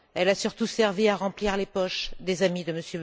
Elle a surtout servi à remplir les poches des amis de M.